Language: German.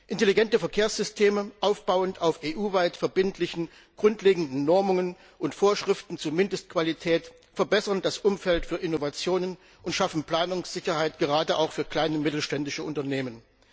Intelligente Verkehrssysteme, aufbauend auf EU weit verbindlichen grundlegenden Normungen und Vorschriften zur Mindestqualität verbessern das Umfeld für Innovationen und schaffen Planungssicherheit, gerade auch für kleine und mittelständische Unternehmen.